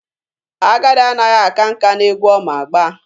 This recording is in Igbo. Agadi anaghị aka nka n'egwu ọ ma agba.